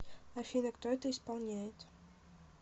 афина кто это исполняет